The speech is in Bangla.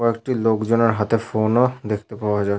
কয়েকটি লোকজনের হাতে ফোন ও দেখতে পাওয়া যায়।